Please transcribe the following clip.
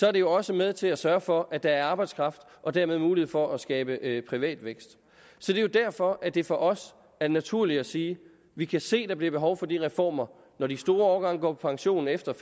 er det jo også med til at sørge for at der er arbejdskraft og dermed mulighed for at skabe privat vækst så det er derfor at det for os er naturligt at sige at vi kan se der bliver behov for de reformer når de store årgange går på pension efter